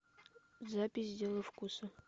запись дело вкуса